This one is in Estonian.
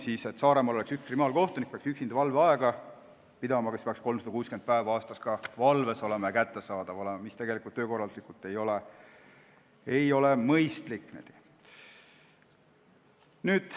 Kui Saaremaal oleks üks kriminaalkohtunik, siis peaks ta 365 päeva aastas valves ja kättesaadav olema, mis ei ole töökorralduslikult mõistlik.